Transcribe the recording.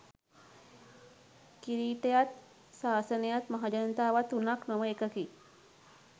කිරීටයත් සාසනයත් මහජනතාවත් තුනක් නොව එකකි.